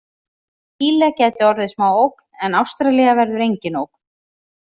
Síle gæti orðið smá ógn en Ástralía verður engin ógn.